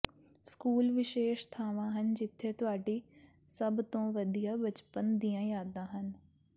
school ਵਿਸ਼ੇਸ਼ ਥਾਵਾਂ ਹਨ ਜਿੱਥੇ ਤੁਹਾਡੀ ਸਭ ਤੋਂ ਵਧੀਆ ਬਚਪਨ ਦੀਆਂ ਯਾਦਾਂ ਹਨ